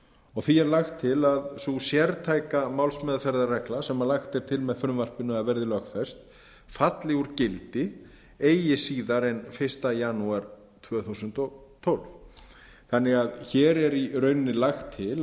og því er lagt til að sú sértæka málsmeðferðarregla sem lagt er til með frumvarpinu að verði lögfest falli úr gildi eigi síðar en fyrsta janúar tvö þúsund og tólf þannig að hér er í rauninni lagt